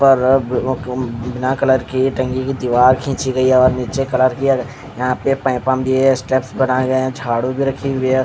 पर अब बिना कलर की टंगी हुए दीवार खिची गयी हैं और यहाँ पाइप भी हैं स्टेप्स बनाए गए हैं झाड़ू भी रखी हुए हैं।